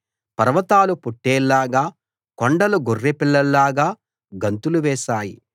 పర్వతాలు పొట్టేళ్లలాగా కొండలు గొర్రెపిల్లల్లాగా గంతులు వేశాయి